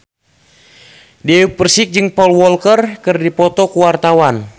Dewi Persik jeung Paul Walker keur dipoto ku wartawan